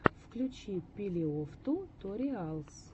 включи пилеофтуториалс